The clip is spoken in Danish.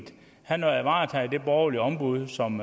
han har varetaget det borgerlige ombud som